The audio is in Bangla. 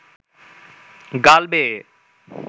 গাল বেয়ে